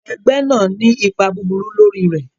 Ẹgbẹ́ náà ní ipa búburú lórí rẹ̀.